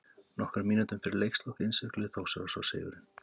Nokkrum mínútum fyrir leikslok innsigluðu Þórsarar svo sigurinn.